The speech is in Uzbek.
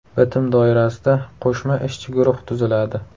Bitim doirasida qo‘shma ishchi guruh tuziladi.